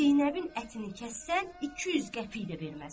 Zeynəbin ətini kəssən 200 qəpik də verməz.